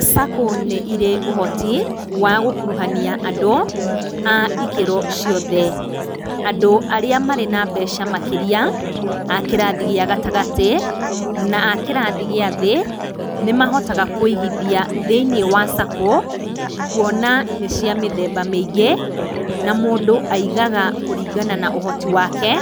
Sacco nĩ ĩrĩ ũhoti wa gũkuruhania andũ a ĩkĩro ciothe andũ arĩa marĩ na mbeca makĩria a kĩrathi gĩa gatagatĩ na akĩrathi gĩa thĩ nĩmahotaga kuĩgĩthia thĩiniĩ wa Sacco, kuona nĩ cia mĩthemba mĩingĩ na mũndũ aigaga kũringana na ũhoti wake